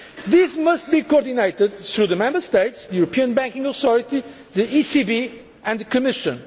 This must be coordinated through the Member States, the European Banking Authority, the ECB and the Commission.